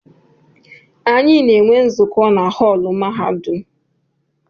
Anyị na-enwe nzukọ na họọlụ mahadum.